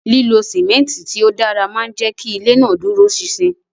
Lilo simenti ti o dara maa n jẹ ki ile naa duro sin-sin